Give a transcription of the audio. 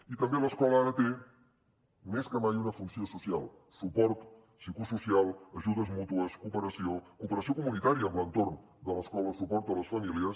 i també l’escola ara té més que mai una funció social suport psicosocial ajudes mútues cooperació cooperació comunitària amb l’entorn de l’escola suport a les famílies